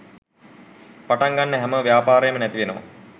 පටන් ගන්න හැම ව්‍යාපාරේම නැති වෙනවා.